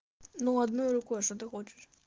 ну одной рукой что ты хочешь